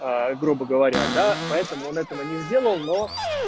грубо говоря да поэтому он этого не сделал но